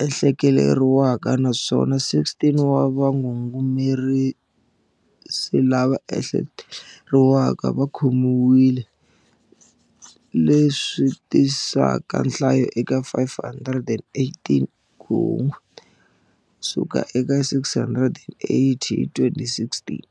lava ehle keriwaka naswona 16 wa va ngungumerisi lava ehleke teriwaka va khomiwile, le swi tisaka nhlayo eka 518, ku hunguteka ku suka eka 680 hi 2016.